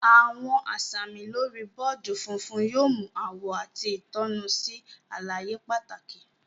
Awọn asami lori bọọdi fúnfún yóò mu awọ àti itonu sí àlàyé pàtàkì.